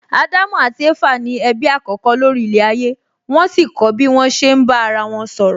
Ádámù àti Éfà ni ẹbí àkọ́kọ́ lórí ilẹ̀ ayé wón sì kọ́ bí wón ṣe ń bá ara wọn sọ̀rọ̀